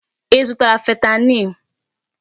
Ị zụtara fentanyl?